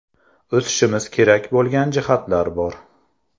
O‘sishimiz kerak bo‘lgan jihatlar bor.